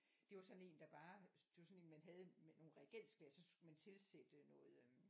Det var sådan der bare det var sådan en man havde med nogle reagensglas så skulle man tilsætte noget øhm